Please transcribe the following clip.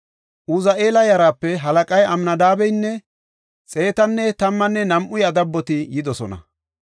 Uzi7eela yaraape halaqay Amnadaabeynne xeetanne tammanne nam7u iya daboti yidosona.